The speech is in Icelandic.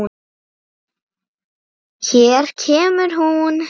Hér kemur hún.